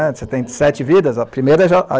Você tem sete vidas, a primeira já